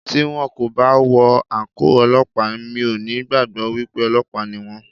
Tí wón kò bá wọ àǹkóò Ọlọ́pàá, mi ò ní gbàgbọ́ wípé Ọlọ́pàá ni wón.